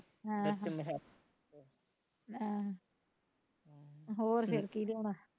ਹਾਂ ਆਹ ਹੋਰ ਫੇਰ ਕਿ ਲਿਆਉਣਾ